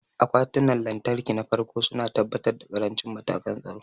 Akwatunan lantarki na farko su na tabbatar da ƙarancin matakan tsaro.